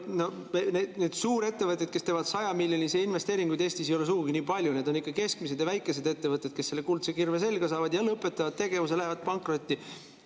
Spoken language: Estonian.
Neid suurettevõtteid, kes teevad 100-miljonisi investeeringuid Eestis, ei ole sugugi nii palju, need on ikka keskmised ja väikesed ettevõtted, kes selle kuldse kirve selga saavad ja lõpetavad tegevuse, lähevad pankrotti.